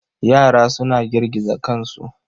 Yara suna girgiza kansu.